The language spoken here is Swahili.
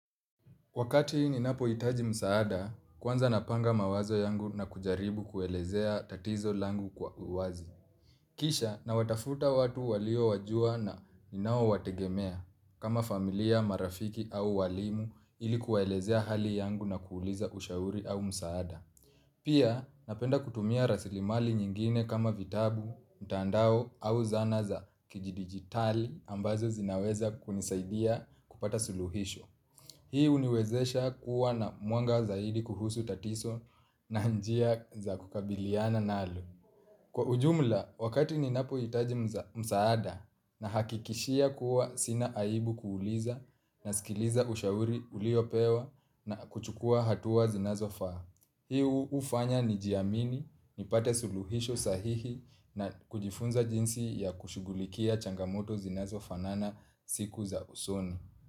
Wakati ninapo itaji msaada, kwanza napanga mawazo yangu na kujaribu kuelezea tatizo langu kwa uwazi. Kisha na watafuta watu walio wajua na ninao wategemea kama familia, marafiki au walimu ilikuwaelezea hali yangu na kuuliza ushauri au msaada. Pia napenda kutumia rasilimali nyingine kama vitabu, mtandao au zana za kiji digitali ambazo zinaweza kunisaidia kupata suluhisho. Hiu niwezesha kuwa na mwanga zaidi kuhusu tatiso na njia za kukabiliana nalo. Kwa ujumla, wakati ni napo itaji msaada na hakikishia kuwa sina aibu kuuliza na sikiliza ushauri uliopewa na kuchukua hatuwa zinazofa. Hiu ufanya ni jiamini, nipate suluhisho sahihi na kujifunza jinsi ya kushugulikia changamoto zinazofa nana siku za usoni.